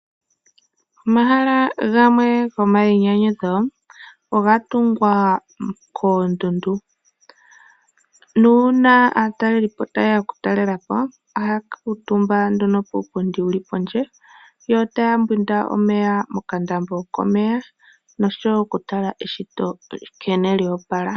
Omahala gamwe gomayinyanyudho oga tungwa koondundu. Nuuna aatalelipo ta ye ya oku talela po, ohaya kuutumba nduno puupundi wuli pondje, yo ta ya mbwindi omeya mokandambo komeya nosho wo oku tala nkene eshito lya opala.